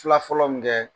Fila fɔlɔ min kɛ